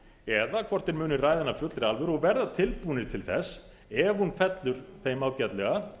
eða hvort þeir muni ræða hana af fullri alvöru og verða tilbúnir til þess ef hún fellur þeim ágætlega